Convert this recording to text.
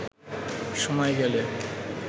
সময় গেলে